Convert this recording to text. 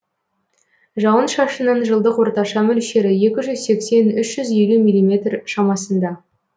жауын шашынның жылдық орташа мөлшері екі жүз сексен үш жүз елу миллиметр шамасында